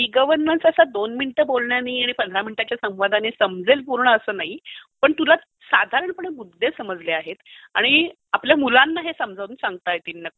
E governance असा दोन minute बोलण्याने आणि पंधरा मिनिटाच्या संवादाने समजेल पूर्ण असा नाही पण तुला साधारणपणे मुद्दे समजले आहेत आणि आपल्या मुलांना हे समजावून सांगता येतील नक्की